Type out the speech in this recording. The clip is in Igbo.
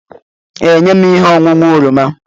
Ee, nye m ihe ọṅụṅụ oroma.